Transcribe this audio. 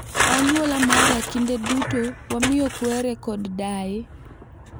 E anyuola mara kinde duto wamiyo kwere kod daye ,